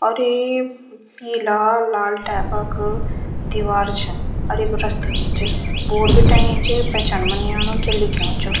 और यी लाल-लाल टाइप क दिवार छन अर ये क रस्ता भी च बोर्ड भी टंगयुं च पहचान मा नी आणु क्या लिख्युं च।